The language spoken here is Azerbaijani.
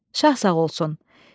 Şah sağ olsun.